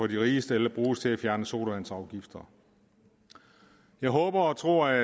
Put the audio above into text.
de rigeste eller bruges til at fjerne sodavandsafgifter jeg håber og tror at